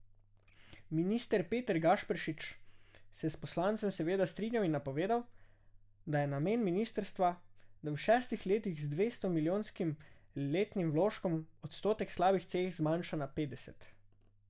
Minister Peter Gašperšič se je s poslancem seveda strinjal in napovedal, da je namen ministrstva, da v šestih letih z dvesto milijonskim letnim vložkom odstotek slabih cest zmanjša na petdeset.